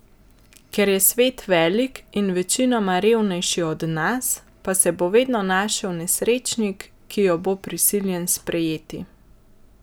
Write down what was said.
Ker je svet velik in večinoma revnejši od nas, pa se bo vedno našel nesrečnik, ki jo bo prisiljen sprejeti.